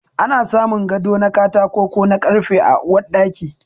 Ana samun gado na katako ko na karfe a Uwar Ɗaki.